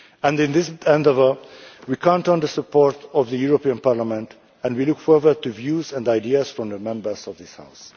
In this endeavour, we count on the support of the European Parliament, and we look forward to views and ideas from the Members of this House.